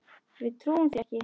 Við trúum því ekki.